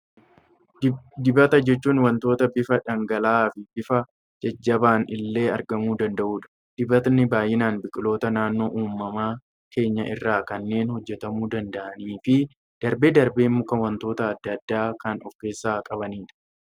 Dibata jechuun waanta bifa dhangala'aa fi bifa jajjabaan illee argamuu danda'udha. Dibatni baayyinaan biqiloota naannoo uumamaa keenyaa irraa kanneen hojjetamuu danda'anii fi darbee darbee makaa waantota addaa addaa kan of keessaa qabanidha.